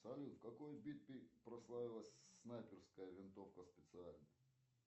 салют в какой битве прославилась снайперская винтовка специальная